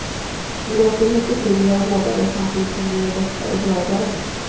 Vi låter mycket tyngre och hårdare, samtidigt som vi är lättare och gladare.